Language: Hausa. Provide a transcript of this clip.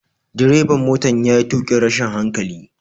Direban motan ya yi tukin rashin hankali.